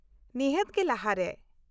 -ᱱᱤᱦᱟᱹᱛ ᱜᱮ ᱞᱟᱦᱟᱨᱮ ᱾